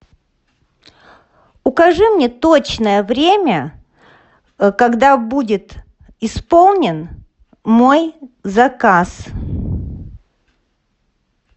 укажи мне точное время когда будет исполнен мой заказ